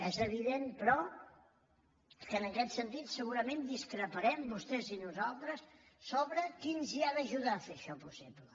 és evident però que en aquest sentit segurament discreparem vostès i nosaltres sobre qui ens hi ha d’ajudar a fer això possible